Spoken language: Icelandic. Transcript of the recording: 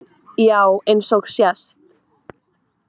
Já eins og sést